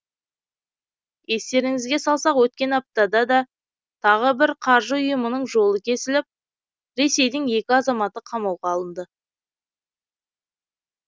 естеріңізге салсақ өткен аптада да тағы бір қаржы ұйымының жолы кесіліп ресейдің екі азаматы қамауға алынды